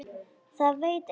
Það veit enginn